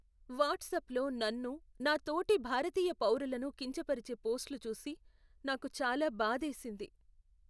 వాట్సాప్లో నన్ను, నా తోటి భారతీయ పౌరులను కించపరిచే పోస్ట్లు చూసి నాకు చాలా బాధేసింది.